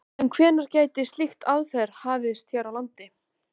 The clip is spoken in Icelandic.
En hvenær gæti slík aðferð hafist hér á landi?